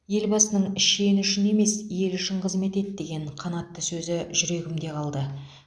елбасының шен үшін емес ел үшін қызмет ет деген қанатты сөзі жүрегімде қалды